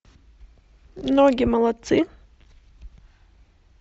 ноги молодцы